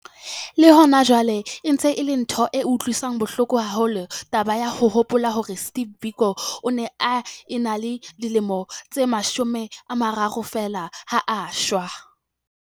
Le hona jwale e ntse e le ntho e utlwisang bohloko haholo taba ya ho hopola hore Steve Biko o ne a ena le dilemo tse 30 feela ha a eshwa.